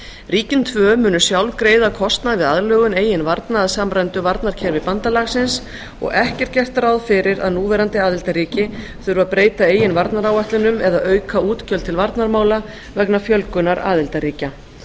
ríkin tvö munu sjálf greiða kostnað við aðlögun eigin varna að samræmdu varnarkerfi bandalagsins og ekki er gert ráð fyrir að núverandi aðildarríki þurfi að breyta eigin varnaráætlunum eða auka útgjöld til varnarmála vegna fjölgunar aðildarríkja